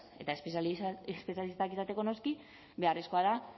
eta espezialistak izateko noski beharrezkoa da